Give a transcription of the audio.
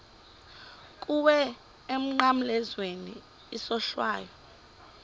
kuwe emnqamlezweni isohlwayo